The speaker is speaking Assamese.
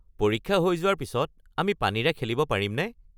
পৰীক্ষা হৈ যোৱাৰ পিছত আমি পানীৰে খেলিব পাৰিমনে?